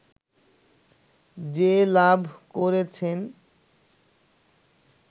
যে লাভ করেছেন